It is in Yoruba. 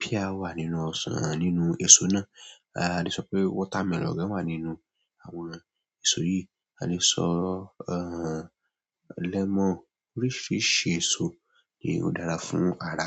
pear wà nínú ọsàn nínú èso náà. A lè sọ pé watermelon wà nínú àwọn èso yìí, a lè sọ lemọ́n. Oríṣiríṣi èso ni ó dára fún ara.